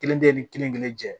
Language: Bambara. Kelen tɛ ni kelen kelen cɛ